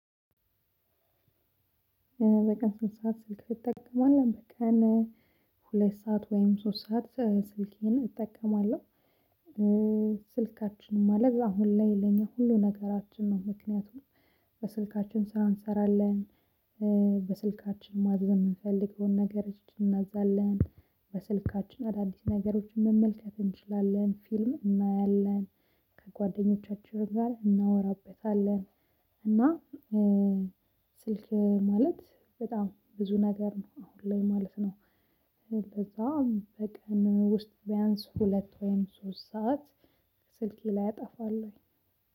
በቀን ስንት ሰዓት ስልክ ትጠቀማለህ? በቀን ሁለት ሰዓት ወይም ሶስት ሰዓት ስልኬን እጠቀማለሁ። ስልካችን ማለት አሁን ላይ ለኛ ሁሉ ነገራችን ነው። ምክንያቱም በስልካችን ስራ እንሰራለን። በስልካችን ማዘዝ የምንፈልገውን ነገሮች እናዛለን። በስልካችን አዳዲስ ነገሮችን መመልከት እንችላለን ፊልም እናያለን። ከጓደኞቻችንም ጋር እናወራበታለን። እና ስልክ ማለት በጣም ብዙ ነገር ነው አሁን ላይ ማለት ነው። ለዛ በቀን ውስጥ ቢያንስ ሁለት ወይም ሶስት ሰዓት ስልኬ ላይ አጠፋለሁኝ።